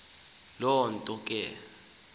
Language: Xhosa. loo nto ke